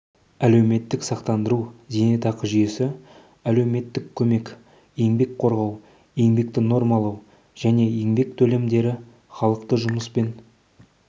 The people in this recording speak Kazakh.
әлеуметтік сақтандыру зейнетақы жүйесі әлеуметтік көмек еңбек қорғау еңбекті нормалау және еңбек төлемдері халықты жұмыспен